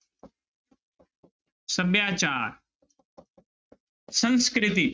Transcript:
ਸਭਿਆਚਾਰ ਸੰਸਕ੍ਰਿਤੀ।